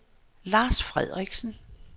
Lars Frederiksen